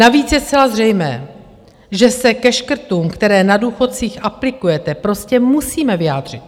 Navíc je zcela zřejmé, že se ke škrtům, které na důchodcích aplikujete, prostě musíme vyjádřit.